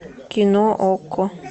кино окко